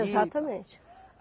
Exatamente.